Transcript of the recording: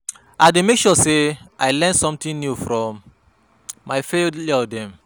I dey make sure sey I learn sometin new from my failure dem.